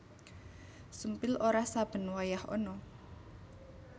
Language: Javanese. Sumpil ora saben wayah ana